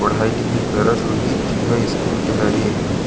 पढाई लिखाई करत होही तिहा स्कूल के हरे ए हा--